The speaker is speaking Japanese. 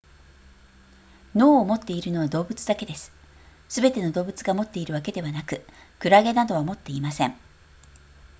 脳を持っているのは動物だけですすべての動物が持っているわけではなくクラゲなどは持っていません